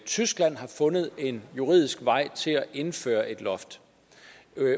tyskland har fundet en juridisk vej til at indføre et loft